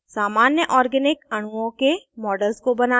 * सामान्य organic अणुओं के models को बनाना